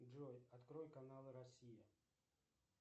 джой открой канал россия